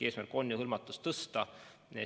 Eesmärk on ju hõlmatust tõsta.